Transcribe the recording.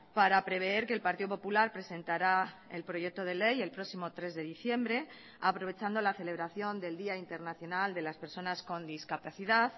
para prever que el partido popular presentará el proyecto de ley el próximo tres de diciembre aprovechando la celebración del día internacional de las personas con discapacidad